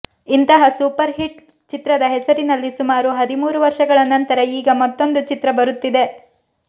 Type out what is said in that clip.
ಇಂತಹ super hit ಚಿತ್ರದ ಹೆಸರಿನಲ್ಲಿ ಸುಮಾರು ಹದಿಮೂರು ವರ್ಷಗಳ ನಂತರ ಈಗ ಮತ್ತೊಂದು ಚಿತ್ರ ಬರುತ್ತಿದೆ